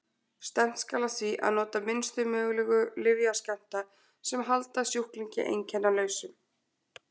Stefnt skal að því að nota minnstu mögulegu lyfjaskammta sem halda sjúklingi einkennalausum.